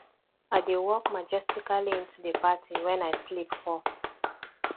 i dey walk majestically into the party wen i slip fall